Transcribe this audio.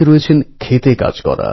সঙ্ঘবদ্ধ হতে সাহায্য করেছিল